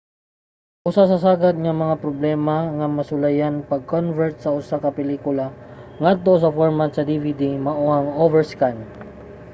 usa sa sagad nga mga problema nga masulayan sa pag-convert sa usa ka pelikula ngadto sa format sa dvd mao ang overscan